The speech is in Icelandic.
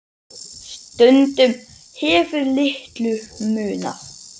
Stundum hefur litlu munað.